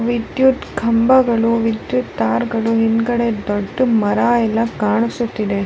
ವಿದ್ಯುತ್ ಕಂಬಗಳು ವಿದ್ಯುತ್ ತಾರ್ಗಳು ಹಿಂದ್ಗಡೆ ದೊಡ್ದ ಮರ ಎಲ್ಲ ಕಾಣಿಸುತ್ತಿದೆ .